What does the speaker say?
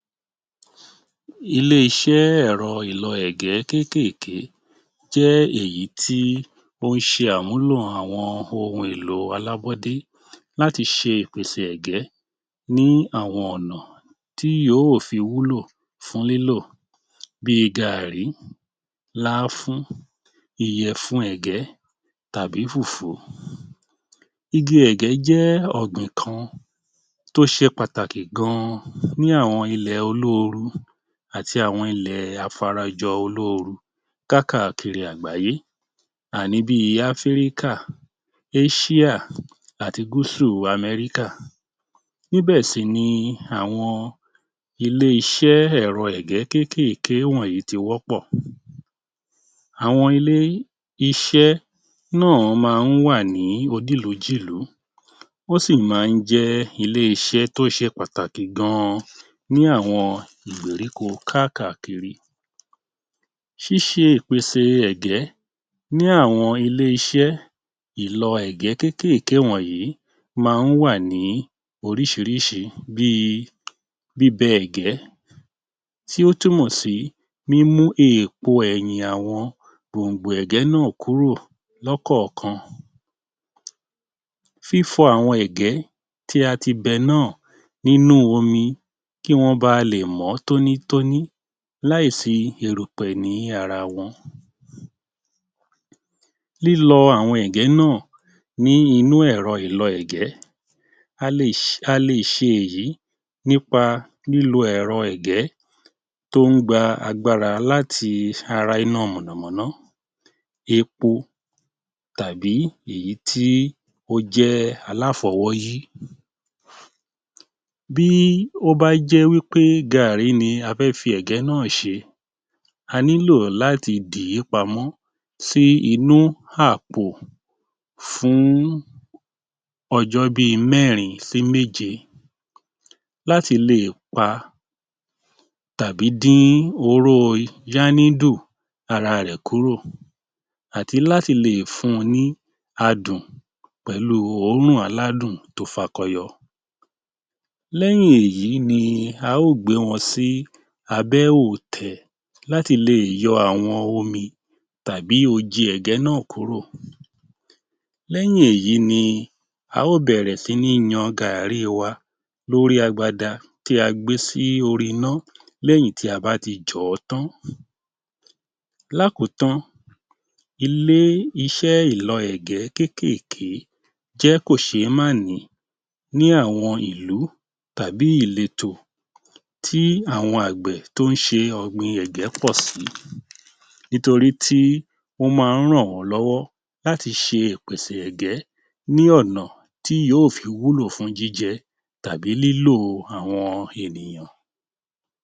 Ilé-iṣẹ́ ẹ̀rọ ìlọ ẹ̀gẹ́ kéékèèké jẹ́ èyí tí ó ń ṣe àmúlò àwọn ohun èlò alábọ́dé láti ṣe ìpèsè ẹ̀gẹ́ ní àwọn ọ̀nà tí yóò fi wúlò fún lílò bíi gaàrí, lááfún, ìyẹ̀fun ẹ̀gẹ́, tàbí fùfú. Igi ẹ̀gẹ́ jẹ́ ọ̀gbìn kan tó ṣe pàtàkì gan-an ní àwọn ilẹ̀ olóoru àti àwọn ilẹ̀ afarajọ-olóoru kákàkiri àgbáyé à ní bíi Áfíríkà, Áṣíà, àti Gúsù Amẹ́ríkà. Níbẹ̀ sì ni àwọn ilé-iṣẹ́ ẹ̀rọ ègé kéékèèké wọ̀nyí ti wọ́pọ̀. Àwọn ilé-iṣẹ́ náà máa ń wà ní onílùú-jìlú wọ́n sì máa ń jẹ́ ilé-iṣẹ́ tó ṣe pàtàkì gan-an ní àwọn ìgbèríko kákàkiri. Ṣíṣe ìpèsè ẹ̀gẹ́ ní àwọn ilé-iṣẹ́ ìlọ ẹ̀gẹ́ kéékèèké wọ̀nyí máa ń wà ní oríṣiríṣi bíi bíbẹ ẹ̀gẹ́ tí ó túmọ̀ sí mímú èpo ẹ̀yìn àwọn gbòǹgbò ẹ̀gẹ́ náà kúrò lọ́ kọ̀ọ̀kan. Fífọ àwọn ẹ̀gẹ́ tí a ti bẹ náà nínú omi kí wọ́n ba lè mọ́ tónítóní láìsí erùpẹ̀ ni ara wọn. Lílọ àwọn ẹ̀gẹ́ náà ní inú ẹ̀rọ ìlọ ẹ̀gẹ́. A lè ṣ a lè ṣe èyí nípa lílo ẹ̀rọ ẹ̀gẹ́ tó ń gba agbára láti ara iná mọ̀nà-mọ́ná, epo tàbí èyí tí ó jẹ́ aláfọwọ́yí. Bí ó bá jẹ́ wí pé gààrí ni a fẹ́ fi ẹ̀gẹ́ náà ṣe, a nílò láti dìí pamọ́ sí inú àpò fún ọjọ́ bí mẹ́rin sí méje láti lè pa tàbí dín oróo yànídù ara rẹ̀ kúrò àti láti lè fun ní adùn pẹ̀lú òórùn aládùn tó fakọ yọ. Lẹ́yìn èyí ni a ó gbé wọn sí abẹ́ òòtẹ̀ láti lè yọ àwọn omi tàbí oji ẹ̀gẹ́ náà kúrò. Lẹ́yìn èyí ni a ó bẹ̀rẹ̀ sí ní yan gààrí wa lórí agbada tí a gbé sí orí ná lẹ́yìn tí a bá ti jọ̀ ọ́ tán. Lákòótán, ilé-iṣẹ́ ìlọ ẹ̀gẹ́ kéékèèké jẹ́ kò ṣé má nìí ní àwọn ìlú tàbí ìletò tí àwọn àgbẹ̀ tó ń ṣe ọ̀gbìn ẹ̀gẹ́ pọ̀ sí nítorí tí ó máa ń ràn wọ́n lọ́wọ́ láti ṣe ìpèsè ẹ̀gẹ́ ní ọ̀nà tí yóò fi wúlò fún jíjẹ tàbí lílò àwọn ènìyàn.